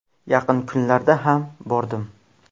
Yaqin kunlarda ham bordim.